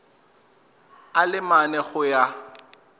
a le mane go ya